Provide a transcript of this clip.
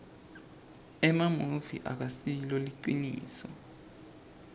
emamuvi akasilo liciniso